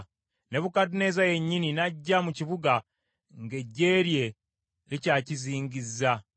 Nebukadduneeza yennyini n’ajja mu kibuga, ng’eggye lye likyakizingizza.